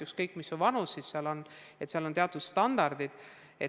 Ükskõik kui vana sa oled, teatud standardid on olemas.